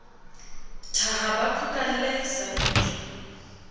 thaha ba phukalle sa ntsu